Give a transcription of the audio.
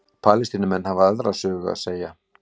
Palestínumenn hafa aðra sögu að segja